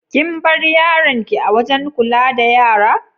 Kin bar yaron ki a'wajen kulla da yara?